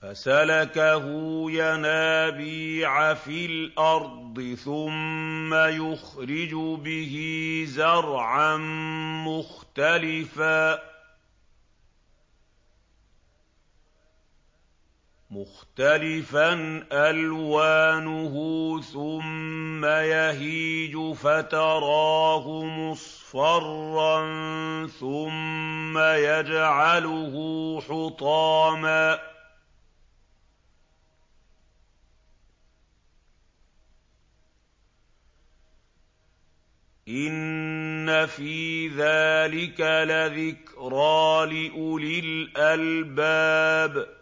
فَسَلَكَهُ يَنَابِيعَ فِي الْأَرْضِ ثُمَّ يُخْرِجُ بِهِ زَرْعًا مُّخْتَلِفًا أَلْوَانُهُ ثُمَّ يَهِيجُ فَتَرَاهُ مُصْفَرًّا ثُمَّ يَجْعَلُهُ حُطَامًا ۚ إِنَّ فِي ذَٰلِكَ لَذِكْرَىٰ لِأُولِي الْأَلْبَابِ